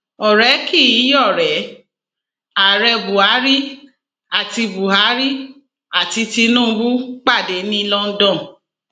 ọrẹ kì í yọrẹ ààrẹ buhari àti buhari àti tinubu pàdé ní london